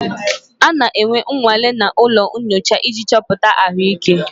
A na-eme nnwale na ụlọ nyocha iji chọpụta ahụike.